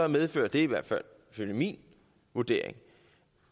medfører det i hvert fald efter min vurdering